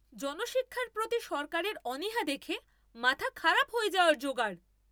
জনশিক্ষার প্রতি সরকারের অনীহা দেখে মাথা খারাপ হয়ে যাওয়ার যোগাড়!